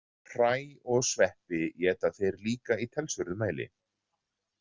Hræ og sveppi éta þeir líka í talsverðum mæli.